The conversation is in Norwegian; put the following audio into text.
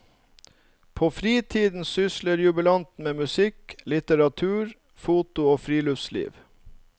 På fritiden sysler jubilanten med musikk, litteratur, foto og friluftsliv.